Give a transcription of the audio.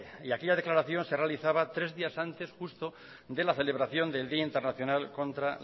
aquella declaración se realizaba tres días antes justo de la celebración del día internacional contra